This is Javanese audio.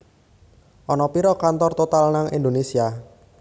Ana piro kantor Total nang Indonesia